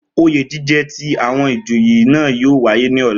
Oyè jíjẹ ti àwọn ìjòyè náà yóò wáyé ní ọ̀la